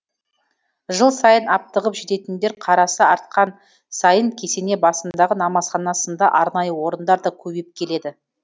жыл сайын аптығып жететіндер қарасы артқан сайын кесене басындағы намазхана сынды арнайы орындар да көбейіп келеді